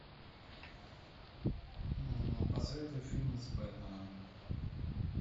посоветуй фильм с бэтменом